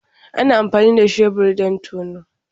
Ana amfani da shebur don tono.